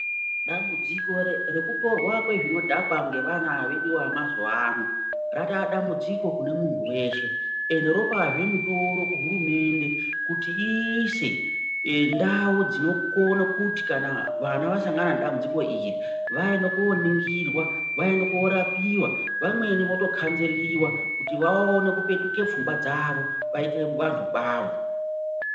Dambudziko rekutorwa kwezvinodhakwa ngevana vedu ava vemazuwano ratova dambudziko kune munhu weshe, ende ropazve mutoro kuhurumende kuti iise ndau dzinokono kuti kana vana vasangana nedambudziko iri vaende koningirwa vaende korapiwa, vamweni votokanzeliwa kuti vaone kupetuke pfungwa dzavo, vaite vantu kwavo.